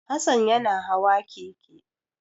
Hassan yana hawa keke.